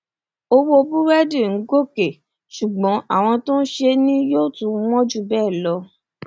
owó búrẹdì ń gòkè ṣùgbọn àwọn tó ń ṣe é ni yóò tún wọn jù bẹẹ lọ